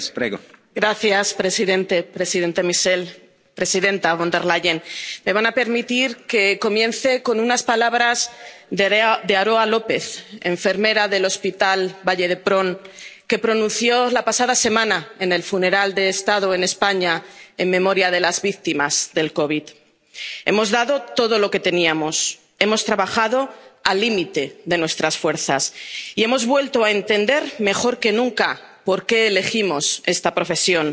Señor presidente, presidente Michel, presidenta Von der Leyen, me van a permitir que comience con unas palabras que Aroa López, enfermera del hospital Vall d'Hebron, pronunció la pasada semana en el funeral de Estado en España en memoria de las víctimas de la COVID 19 Hemos dado todo lo que teníamos, hemos trabajado al límite de nuestras fuerzas y hemos vuelto a entender, mejor que nunca, por qué elegimos esta profesión